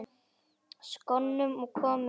Skónum komið fyrir?